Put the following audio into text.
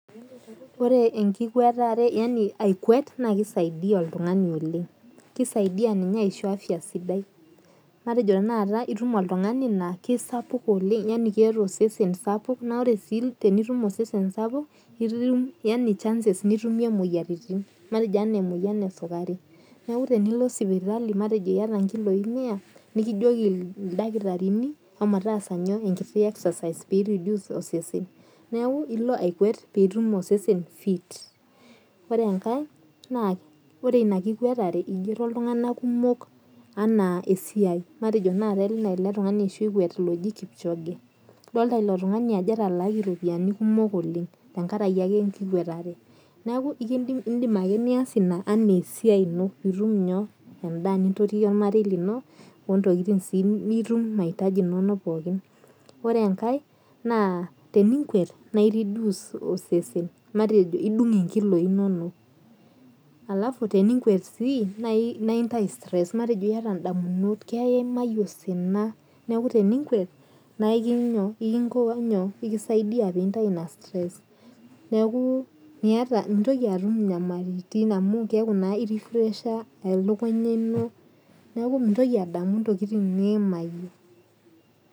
Ore akwet naa kisaidia oltung'ani aishoo afya sidai matejo etum oltung'ani laa keeta osesen sapuk naa ore tenitum osesen sapuk nitum chances nitumie emoyian ee sukari neeku tenilo sipitali matejo eyata nkiloi mia nikijoki ildakitarini homo taasat enkiti exercise pee reduce osesen nilo akwet pee etum osesen fit ore enkae naa ore ena kikwatare eshoo iltung'ana kumok esiai matejo naaji ena ele tung'ani oshi okwet oji kipchoge edol elo tung'ani Ajo etalakie ropiani kumok oleng tenkaraki ake enkikwatare neeku edimake nias ena enaa esiai eno pee etum endaa nintotie ormarei lino ontokitin sii nitum maitaji enono pookin ore enkae naa tenikwet naa edungu enkiloi enono alafu tenikwet sii naa Entau stress matejo eyata ndamunot eyata damunot eyimayie osina neeku tenikwet neeku ekisaidia ntayu ena stress mintoki atum nyamalitin amu keeku naa refresher elukunya eno neeku mintoki adamu entokitin niyimayie